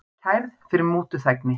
Kærð fyrir mútuþægni